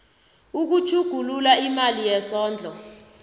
ukutjhugulula imali yesondlo